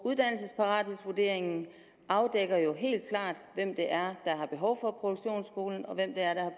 uddannelsesparathedsvurderingen afdækker jo helt klart hvem der har behov for at produktionsskolen og hvem der er